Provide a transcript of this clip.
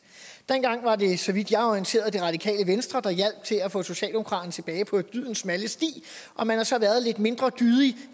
dengang var det så vidt jeg er orienteret det radikale venstre der hjalp til at få socialdemokratiet tilbage på dydens smalle sti og man har så været lidt mindre dydig